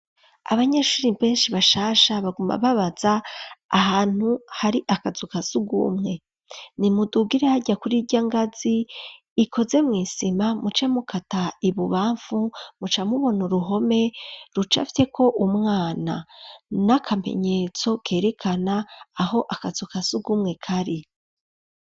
Abanyeshuri benshi bashasha, baguma babaza ahantu hari akazu ka surwumwe, nimudugire harya kuri irya ngazi ikoze mw'isima, muce mukata ibubamfu, muca mubona uruhome rucafyeko umwana, n'akamenyetso kerekana aho akazu ka surwumwe kari.